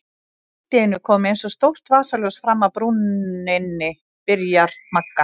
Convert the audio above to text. Allt í einu kom eins og stórt vasaljós fram af brúninni, byrjar Magga.